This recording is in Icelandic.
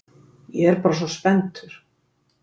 Ég er bara svona spenntur.